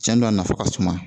Cɛn do a nafa ka suma